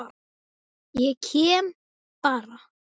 Ég kem bara.